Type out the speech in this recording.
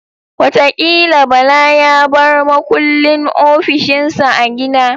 Watakila Bala ya bar makullin ofishin sa a gida